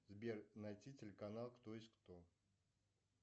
сбер найти телеканал кто есть кто